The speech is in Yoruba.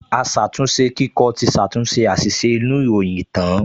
Aṣàtúnṣekíkọ ti ṣàtúnṣe àṣìṣe inú ìròyìn tán